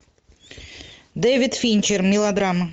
дэвид финчер мелодрама